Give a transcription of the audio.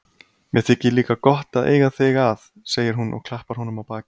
Mér þykir líka gott að eiga þig að, segir hún og klappar honum á bakið.